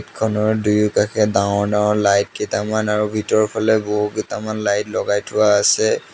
খনৰ দুয়োকাষে ডাঙৰ ডাঙৰ লাইট কেইটামান আৰু ভিতৰফালে বহুকেটামান লাইট লগাই থোৱা আছে।